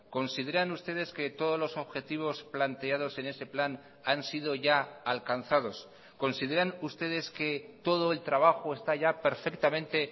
consideran ustedes que todos los objetivos planteados en ese plan han sido ya alcanzados consideran ustedes que todo el trabajo está ya perfectamente